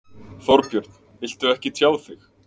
Þorbjörn: Viltu ekki tjá þig?